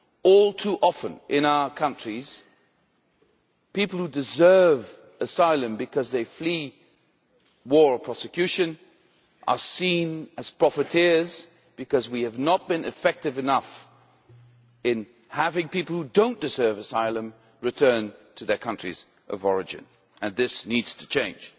All too often in our countries people who deserve asylum because they flee war or prosecution are seen as profiteers because we have not been effective enough in having people who do not deserve asylum return to their countries of origin and this needs to change.